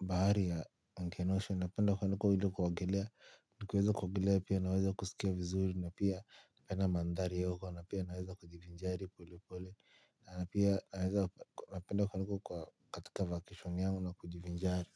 bahari ya ankenosho. Napenda kwenda ili kuogelea nikiweza kuogelea pia naweza kuskia vizuri na pia napenda mandhari ya huko na pia naweza kujivinjari polepole. Napenda kwenda huko kwa katika vacation yangu na kujivinjari.